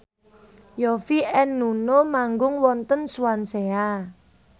Yovie and Nuno manggung wonten Swansea